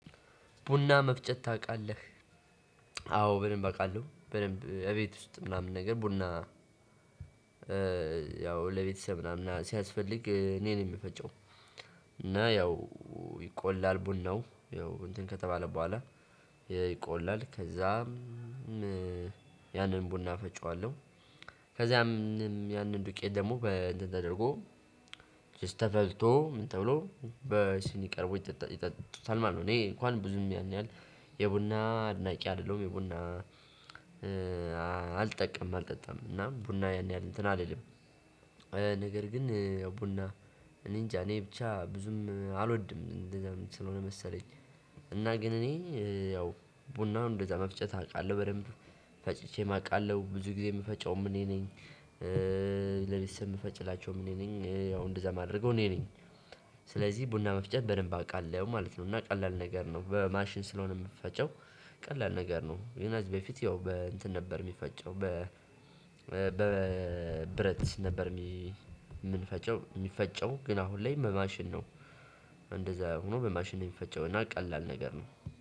ቡና መፍጨት ታውቃለህ? አዎ በደንብ አውቃለሁ በደንብ እቤት ውስጥ ምናምን ነገር ቡና ያው ለቤተሰብ ምናምን ሲያስፈልግ እኔ ነኝ የምፈጨው። እና ያው ይቆላል ቡናው ያው እንትን ከተባለ በኋላ ይቆላል ከዛም። ያንን ቡና እፈጨዋለሁ። ከዛም ያንን ዱቄት ደግሞ በተደረገው ተፈልቶ ምን ተብሎ በሲኒ ቀርቦ ይጠጣል ይጠጡታል ማለት ነው። እኔ እንኳን ብዙም ያን ያህል የቡና አድናቂ አይደለሁም። የቡና እ አልጠቀምም አልጠጣም እና ቡና የን ያህል እንትን አልልም። ነገር ግን ቡና እኔንጃ እኔ ብቻ ብዙም አልወድም እንደዛም ስለሆነ መሰለኝ። እና ግን እኔ ያው ቡናውን እንደዛ መፍጨት አውቃለሁ በደንብ ፈጭቼ ምአውቃለሁ ብዙ ጊዜ የምፈጨውም እኔ ነኝ። ለቤተሰብ የምፈጭላቸውም እኔ ነኝ ያው እንደዛ ማድረገው እኔ ነኝ። ስለዚህ ቡና መፍጨት በደንብ አውቃለሁ ማለት ነው። እና ቀላል ነገር ነው በማሽን ስለሆነ የምፈጨው ቀላል ነገር ነው። ግን ከዚህ በፊት ያው በእንትን ነበር የሚፈጨው። በ ሲነበር የምንፈጨው የሚፈጨው ግን አሁን ላይ በማሽን ነው። እንደዛ ሆኖ በማሽን የሚፈጨውና ቀላል ነገር ነው